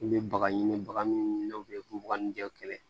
I bɛ baga ɲini baganw ni kɛlɛ